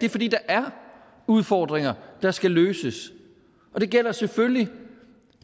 det er fordi der er udfordringer der skal løses og det gælder selvfølgelig